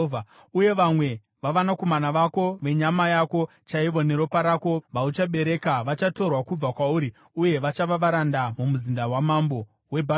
Uye vamwe vavanakomana vako, venyama yako chaivo neropa rako, vauchabereka, vachatorwa kubva kwauri, uye vachava varanda mumuzinda wamambo weBhabhironi.”